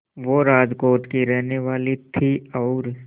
वो राजकोट की ही रहने वाली थीं और